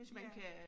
Ja